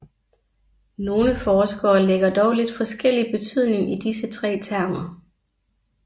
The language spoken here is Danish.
Nogle forskere lægger dog lidt forskellig betydning i disse tre termer